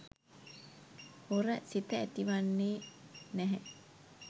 හොර සිත ඇතිවෙන්නේ නැහැ.